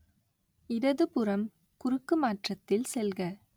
இடது புறம் குறுக்குமாற்றத்தில் செல்க